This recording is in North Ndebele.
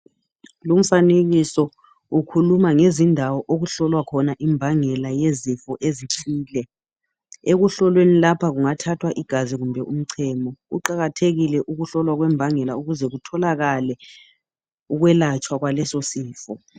Lumfanekiso ukhuluma ngezindawo okuhlolwa khona imbangela yezifo ezithile. Ekuhlolweni lapha kungathathwa igazi kumbe umchemo. Kuqakathekile ukuhlolwa kwembangela ukuze kutholakale ukwelatshwa kwaleso sifo.